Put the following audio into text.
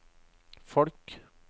folk